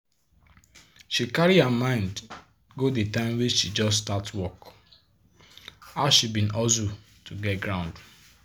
she carry her mind go de time wey she just start work how she bin hustle to get ground.